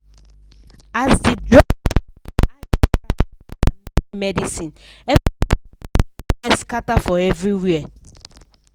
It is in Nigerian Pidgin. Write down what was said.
as the drug company hike price for thier main medicineeverybody vex scatter for everywhere.